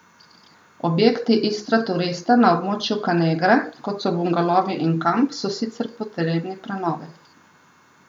Objekti Istraturista na območju Kanegre, kot so bungalovi in kamp, so sicer potrebni prenove.